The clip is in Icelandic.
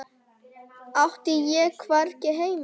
Átti ég hvergi heima?